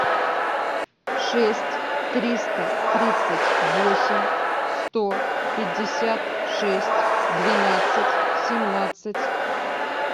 шесть триста тридцать восемь сто пятьдесят шесть двенадцать семнадцать